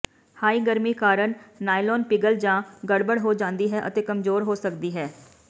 high ਗਰਮੀ ਕਾਰਨ nylon ਪਿਘਲ ਜਾਂ ਗੜਬੜ ਹੋ ਜਾਂਦੀ ਹੈ ਅਤੇ ਕਮਜ਼ੋਰ ਹੋ ਸਕਦੀ ਹੈ